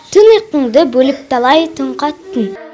түн ұйқыңды бөліп талай түн қаттың